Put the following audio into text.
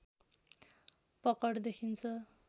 पकड देखिन्छ